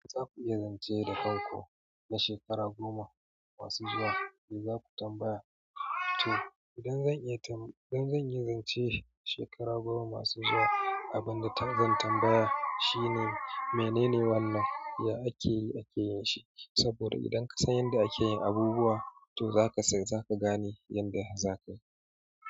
Za ku iya zance da kanku na shekara goma masu zuwa, me za ku tambaya? To, idan iya tam zanyi zance shekara goma masu zuwa, abinda zan tambaya shine menene wannan, ya ake yi ake yin shi, saboda idan ka san yadda ake yin abubuwa, to zaka gane yadda za ka yi.